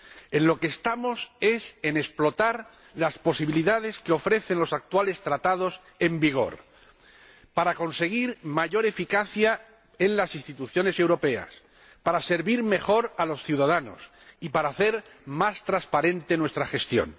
En lo que estamos es en explotar las posibilidades que ofrecen los actuales Tratados en vigor para conseguir mayor eficacia en las instituciones europeas, para servir mejor a los ciudadanos y para hacer más transparente nuestra gestión.